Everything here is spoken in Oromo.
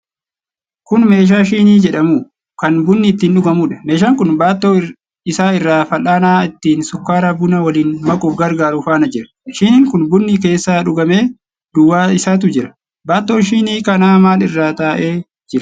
Kun meeshaa shinii jedhamu, kan bunni ittiin dhugamuudha. Meeshaan kun baattoo isaa irra fal'aana ittiin sukkaara bunaa waliin makuuf gargaaru faana jira. Shiniin kun bunni keessaa dhugamee duwwaa isaatu jira. Baattoon shinii kanaa maal irra taa'ee jira?